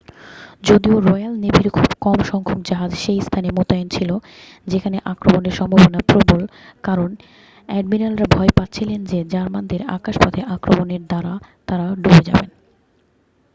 যদিও রয়্যাল নেভির খুব কম সংখ্যক জাহাজ সেই স্থানে মোতায়েন ছিল যেখানে আক্রমণের সম্ভাবনা প্রবল কারণ অ্যাডমিরালরা ভয় পাচ্ছিলেন যে জার্মানদের আকাশপথে আক্রমণের দ্বারা তাঁরা ডুবে যাবেন